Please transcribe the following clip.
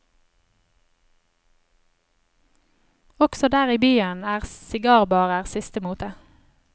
Også der i byen er sigarbarer siste mote.